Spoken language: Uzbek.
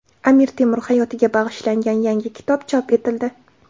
Amir Temur hayotiga bag‘ishlangan yangi kitob chop etildi.